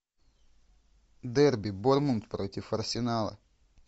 дерби борнмут против арсенала